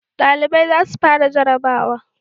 Dalibai za su fara jarrabawa